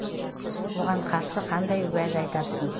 оған қарсы қандай уәж айтарсың